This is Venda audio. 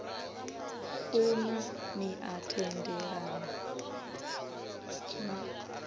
funa ni a tendelana na